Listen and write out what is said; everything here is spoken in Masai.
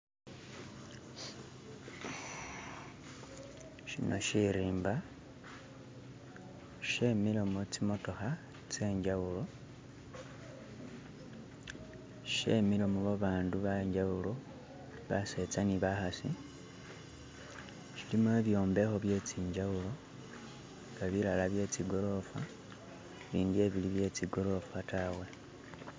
shino shirimba shemilemo tsimotoha tsenjawulo shemilemo babandu bejawulo batseza ni bakhasi shilimo ibyombekho bye zinjawulo nga bilala bye tsi golofa bindi bili bye tsi golofa taawe